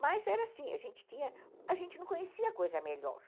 Mas era assim, a gente tinha, a gente não conhecia coisa melhor.